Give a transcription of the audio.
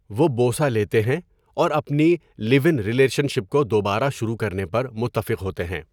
وہ بوسہ لیتے ہیں اور اپنی لیو ان ریلیشن شپ کو دوبارہ شروع کرنے پر متفق ہوتے ہیں۔